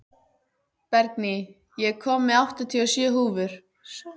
Bergný, ég kom með áttatíu og sjö húfur!